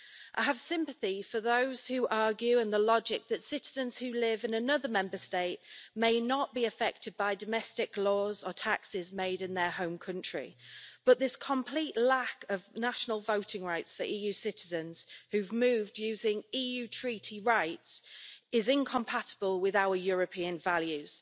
While I have sympathy for those who argue the logic that citizens who live in another Member State may not be affected by domestic laws or taxes made in their home country, this complete lack of national voting rights for EU citizens who have moved using EU treaty rights is incompatible with our European values.